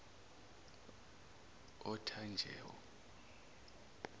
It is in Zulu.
othanjewo